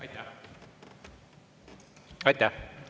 Aitäh!